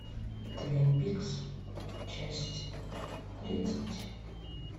твин пикс часть тридцать